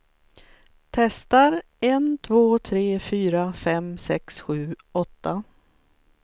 Testar en två tre fyra fem sex sju åtta.